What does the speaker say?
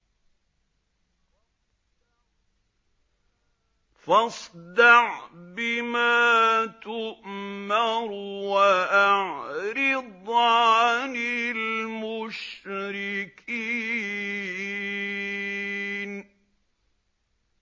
فَاصْدَعْ بِمَا تُؤْمَرُ وَأَعْرِضْ عَنِ الْمُشْرِكِينَ